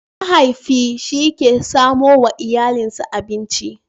Mahaifi shi ke samo wa iyalinsa abinci.